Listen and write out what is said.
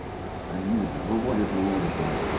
а не вижу вот выводит выводит аа